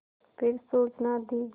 फिर सूचना दी